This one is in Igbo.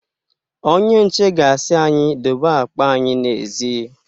Onye nche ga-asi anyị dobe akpa anyị n'èzí.